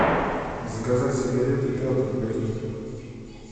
заказать сигареты петр легкие